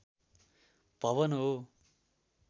भवन हो